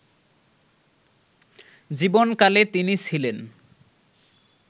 জীবনকালে তিনি ছিলেন